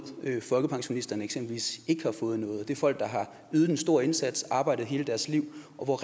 folkepensionisterne eksempelvis ikke har fået noget og det er folk der har ydet en stor indsats og arbejdet hele deres liv og